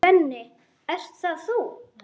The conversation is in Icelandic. Svenni, ert það þú!?